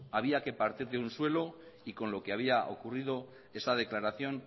había que partir de un suelo y con lo que había ocurrido esta declaración